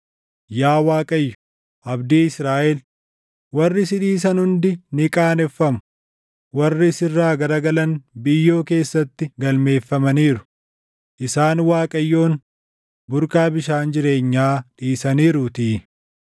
Yaa Waaqayyo, abdii Israaʼel, warri si dhiisan hundi ni qaaneffamu. Warri sirraa garagalan biyyoo keessatti galmeeffamaniiru; isaan Waaqayyoon burqaa bishaan jireenyaa dhiisaniiruutii.